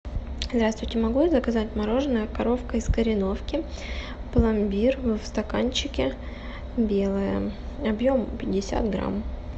здравствуйте могу я заказать мороженое коровка из кореновки пломбир в стаканчике белое объем пятьдесят грамм